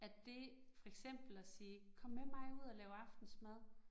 At det for eksempel at sige, kom med mig ud og lav aftensmad